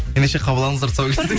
ендеше қабыл алыңыздар